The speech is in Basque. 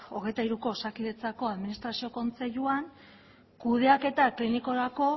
hogeita hiruko osakidetzako administrazio kontseiluan kudeaketa klinikorako